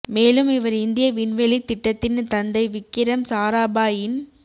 மேலும் இவர் இந்திய விண்வெளித் திட்டத்தின் தந்தை விக்கிரம் சாராபாய் இன்